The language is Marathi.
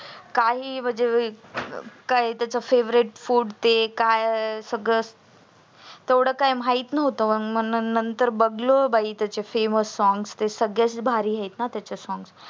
काही म्हणजे काय त्याच favorite food काय आहे ते सगळ तेव्हड काय माहीत नव्हत मग नंतर बाई बघल त्याचे famous songs ते सगळेच भारी आहेत ना त्याचे songs